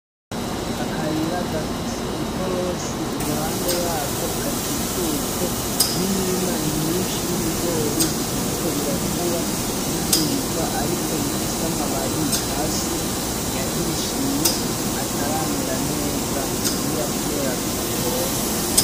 Akayira gafise ikorosi iruhande yako gakikujwe n'imirima myinshi y'ibigori bikiriko birakura biduga ariko bifise amababi hasi yahishiye ataramera neza bi bira kubera bidapompwa.